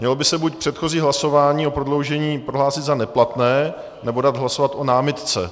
Mělo by se buď předchozí hlasování o prodloužení prohlásit za neplatné, nebo dát hlasovat o námitce.